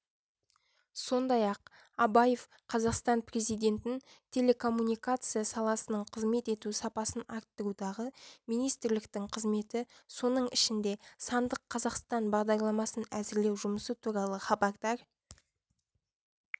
сондай-ақ абаев қазақстан президентін телекоммуникация саласының қызмет ету сапасын арттырудағы министрліктің қызметі соның ішінде сандық қазақстан бағдарламасын әзірлеу жұмысы туралы хабардар